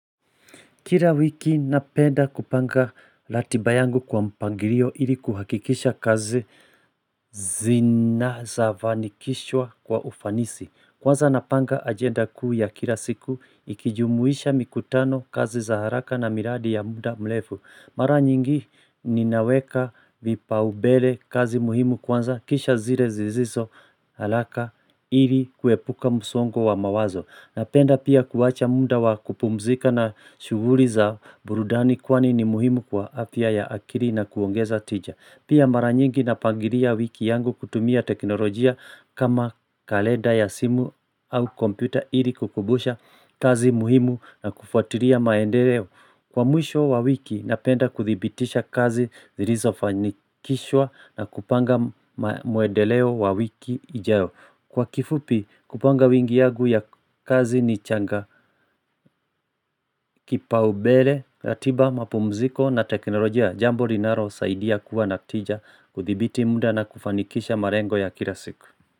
Kila wiki napenda kupanga ratiba yangu kwa mpangilio ili kuhakikisha kazi zinafavani kishwa kwa ufanisi. Kwanza napanga agenda kuu ya kila siku ikijumuisha mikutano kazi za haraka na miradi ya muda mrefu. Mara nyingi ninaweka vipaumbele kazi muhimu kwanza kisha zile ziziso haraka ili kuepuka msongo wa mawazo. Napenda pia kuwacha muda wa kupumzika na shuguli za burudani kwani ni muhimu kwa afya ya akili na kuongeza tija. Pia maranyingi na pangilia wiki yangu kutumia teknolojia kama kalenda ya simu au kompyuta ili kukumbusha kazi muhimu na kufuatiria maendeleo. Kwa mwisho wa wiki napenda kudhibitisha kazi zilizo fanikishwa na kupanga mwendeleo wa wiki ijayo. Kwa kifupi kupanga wiki yangu ya kazi ni changa kipaumbele na ratiba mapumziko na teknolojia jambo linaro saidi ya kuwa natija kudhibiti muda na kufanikisha malengo ya kila siku.